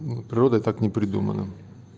природой так не придумано